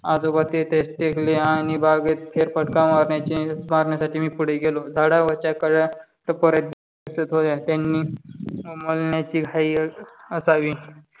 आजोबा तेथे टेकले आणि बागेत फेरफटका मारण्याचे मारण्यासाठी मी पुढे गेलो. झाडावरच्या कळ्या टपोरा दिसत होत्या. त्यांनी त्यांना उमलण्याची घाई असावी.